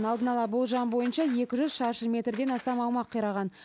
алдын ала болжам бойынша екі жүз шаршы метрден астам аумақ қираған